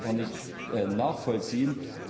Das kann ich einfach nicht nachvollziehen.